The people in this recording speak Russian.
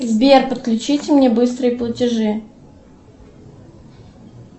сбер подключите мне быстрые платежи